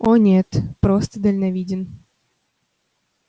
о нет просто дальновиден